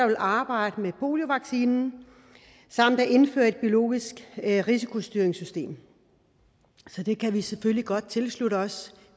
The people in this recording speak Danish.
man arbejder med poliovaccine samt at indføre et biologisk risikostyringssystem så det kan vi selvfølgelig godt tilslutte os